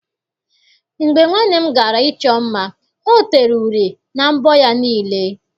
Mgbe nwanne m gara ịchọ mma, ọ tere uri na mbọ ya niile.